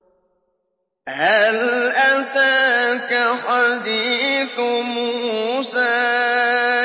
هَلْ أَتَاكَ حَدِيثُ مُوسَىٰ